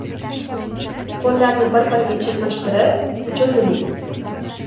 Qo‘llarni bir-biriga chirmashtirib, cho‘ziling.